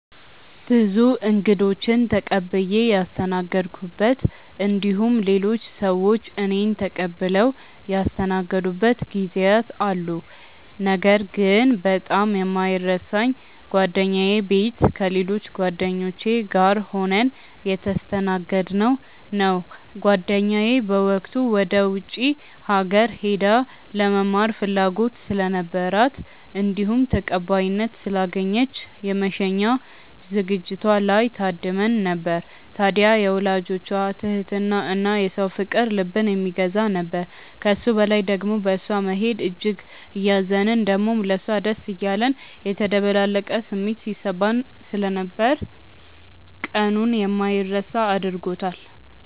ብዙ እንግዶችን ተቀብዬ ያስተናገድኩበት እንዲሁም ሌሎች ሰዎች እኔን ተቀብለው ያስተናገዱበት ጊዜያት አሉ። ነገር ግን በጣም የማይረሳኝ ጓደኛዬ ቤት ከሌሎች ጓደኞቼ ጋር ሆነን የተስተናገድነው ነው። ጓደኛዬ በወቅቱ ወደ ውጪ ሀገር ሄዳ ለመማር ፍላጎት ስለነበራት እንዲሁም ተቀባይነት ስላገኘች የመሸኛ ዝግጅቷ ላይ ታድመን ነበር። ታድያ የወላጆቿ ትህትና እና የሰው ፍቅር ልብን የሚገዛ ነበር። ከሱ በላይ ደሞ በእሷ መሄድ እጅግ እያዘንን ደሞም ለሷ ደስ እያለን የተደበላለቀ ስሜት ሲሰማን ስለነበር ቀኑን የማይረሳ አድርጎታል።